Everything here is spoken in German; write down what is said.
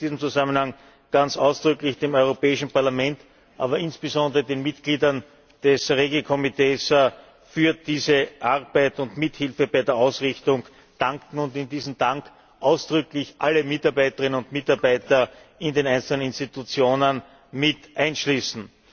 Ich möchte in diesem Zusammenhang ganz ausdrücklich dem Europäischen Parlament, aber insbesondere den Mitgliedern des REGI Ausschusses, für diese Arbeit und Mithilfe bei der Ausrichtung danken und in diesen Dank ausdrücklich alle Mitarbeiterinnen und Mitarbeiter in den einzelnen Institutionen mit einschließen.